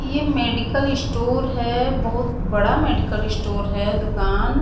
ये medical store हैं बहुत बड़ा मेडिकल स्टोर हैं दुकान--